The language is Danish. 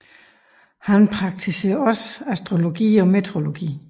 Han praktiserede også astrologi og meteorologi